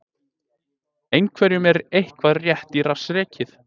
Einhverjum er eitthvað rétt í rass rekið